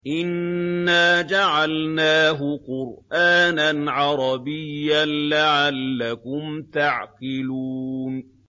إِنَّا جَعَلْنَاهُ قُرْآنًا عَرَبِيًّا لَّعَلَّكُمْ تَعْقِلُونَ